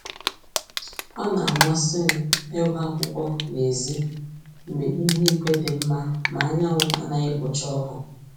Ọ na-amasị m ịgụ akwụkwọ n'èzí mgbe ihu igwe dị mma ma anyanwụ anaghị ekpocha ọkụ